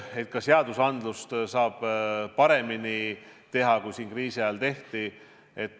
Ka seadusandlusega saab paremini tegeleda, kui seda kriisi ajal tehti.